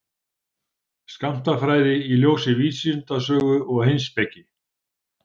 Skammtafræði í ljósi vísindasögu og heimspeki.